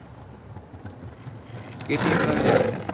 KTM এ আমি জানি না